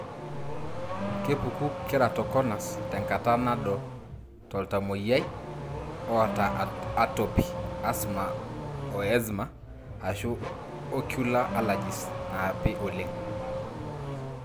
kepuku Keratoconus tenkata nado toltamoyia ota atopy(asthma o eczema )ashu ocular allergies napii oleng.